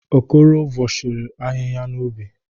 Okoro vọshiri ahịhịa n'ubi.